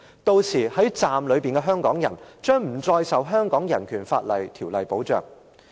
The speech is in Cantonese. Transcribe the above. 屆時站內的香港人將不再受《香港人權法案條例》保障。